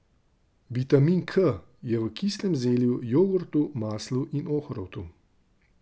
Vitamin K je v kislem zelju, jogurtu, maslu in ohrovtu.